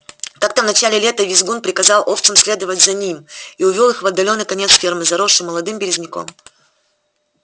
как-то в начале лета визгун приказал овцам следовать за ним и увёл их в отдалённый конец фермы заросший молодым березняком